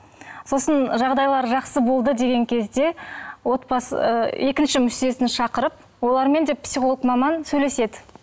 сосын жағдайлары жақсы болды деген кезде отбасы ы екінші мүшесін шақырып олармен де психолог маман сөйлеседі